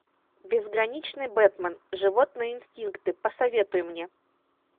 безграничный бэтмен животные инстинкты посоветуй мне